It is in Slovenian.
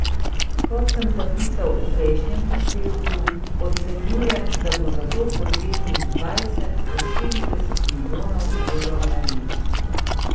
Kot sem zapisal v prejšnjem prispevku, ocenjujem, da bo za to potrebnih dvajset do štirideset milijonov evrov na leto.